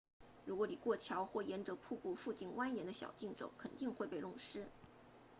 如果你过桥或沿着瀑布附近蜿蜒的小径走肯定会被弄湿